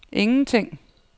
ingenting